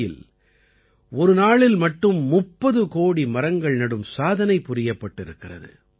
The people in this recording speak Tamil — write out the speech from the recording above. பியில் ஒரு நாளில் மட்டும் 30 கோடி மரங்கள் நடும் சாதனை புரியப்பட்டிருக்கிறது